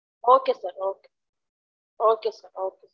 Okay sir okay sir